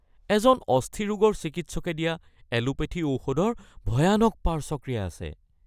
এজন অস্থিৰোগৰ চিকিৎসকে দিয়া এলোপেথী ঔষধৰ ভয়ানক পাৰ্শ্বক্ৰিয়া আছে